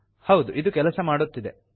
ಹೌದು ಇದು ಕೆಲಸ ಮಾಡುತ್ತಿದೆ